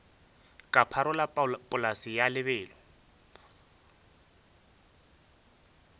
ka pharola polase ya lebelo